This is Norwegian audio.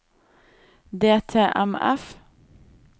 DTMF